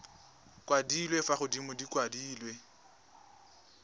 kwadilwe fa godimo di kwadilwe